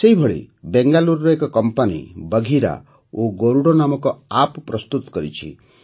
ସେହିପରି ବେଙ୍ଗାଲୁରୁର ଏକ କମ୍ପାନୀ ବଘିରା ଓ ଗରୁଡ଼ ନାମକ ଆପ୍ ପ୍ରସ୍ତୁତ କରିଛି